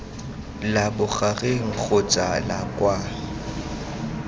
la bogareng kgotsa la kwa